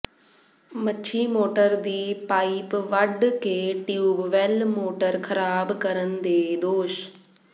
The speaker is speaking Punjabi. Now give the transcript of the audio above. ਮੱਛੀ ਮੋਟਰ ਦੀ ਪਾਈਪ ਵੱਢ ਕੇ ਟਿਊਬਵੈੱਲ ਮੋਟਰ ਖ਼ਰਾਬ ਕਰਨ ਦੇ ਦੋਸ਼